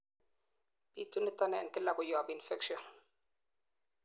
bitu niton en kila koyob infection